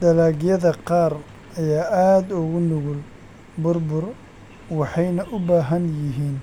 Dalagyada qaar ayaa aad ugu nugul burbur waxayna u baahan yihiin